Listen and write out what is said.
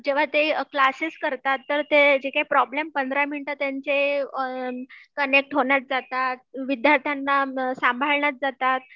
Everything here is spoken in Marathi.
जेव्हा ते क्लासेस करता तर प्रॉब्लेम १५ मिनीटे त्यांचे कनेक्ट होण्यात जातात विद्यार्थ्यांना सांभाळण्यात जातात